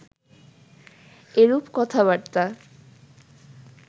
এরূপ কথাবার্তা